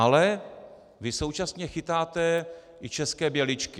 Ale vy současně chytáte i české běličky.